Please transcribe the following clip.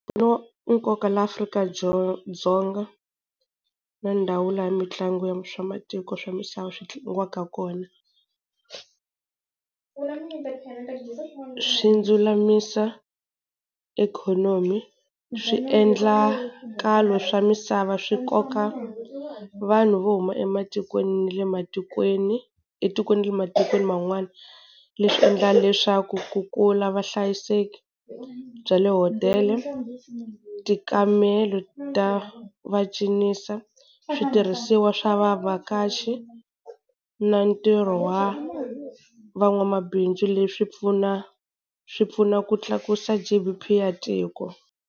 ya nkoka laha Afrika-Dzonga dzonga na ndhawu laha mitlangu ya swa matiko swa misava swi tlangiwaka kona. Swi ndzulamisa ikhonomi, swiendlakalo swa misava swi koka vanhu vo huma ematikweni na le matikweni etikweni ni le matikweni man'wani, leswi endlaka leswaku ku kula vuhlayiseki bya le hotela, tikamelo ta va cinisa, switirhisiwa swa vavhakachi na ntirho wa van'wamabindzu leswi pfuna swi pfuna ku tlakusa G_D_P ya tiko.